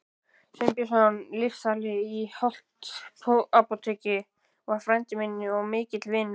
Sveinbjörnsson lyfsali í Holtsapóteki var frændi minn og mikill vinur.